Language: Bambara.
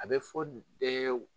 A bɛ fɔ ee wu